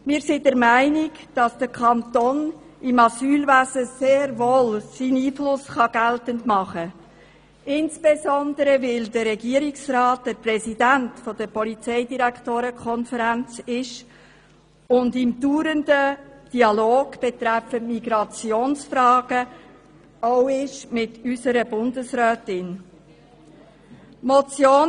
Wir sind der Meinung, dass der Kanton im Asylwesen sehr wohl seinen Einfluss geltend machen kann, insbesondere weil Regierungsrat Käser Präsident der Konferenz der Kantonalen Justiz- und Polizeidirektorinnen und -direktoren (KKJPD) ist und sich auch in einem dauernden Dialog betreffend Migrationsfragen mit unserer Bundesrätin befindet.